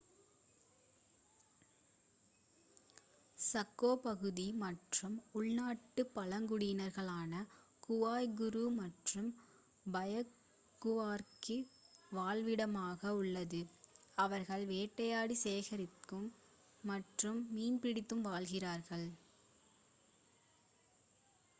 Chaco பகுதி மற்ற உள் நாட்டுக் பழங்குடியினர்களான குவாய்குரு மற்றும் பயாகுவாவிற்கு வாழ்விடமாக உள்ளது அவர்கள் வேட்டையாடி சேகரித்து மற்றும் மீன் பிடித்து வாழ்கிறார்கள்